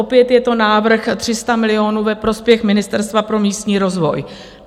Opět je to návrh 300 milionů ve prospěch Ministerstva pro místní rozvoj.